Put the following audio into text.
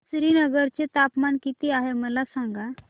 श्रीनगर चे तापमान किती आहे मला सांगा